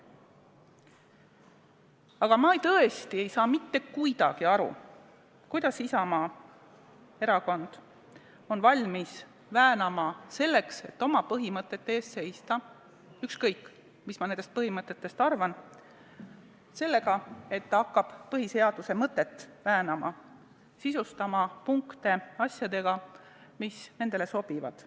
Aga ma tõesti ei saa mitte kuidagi aru, kuidas Isamaa on valmis end väänama selleks, et oma põhimõtete eest seista – ükskõik, mis ma nendest põhimõtetest ka ei arva – sellega, et hakkab põhiseaduse mõtet väänama, sisustama punkte asjadega, mis nendele sobivad.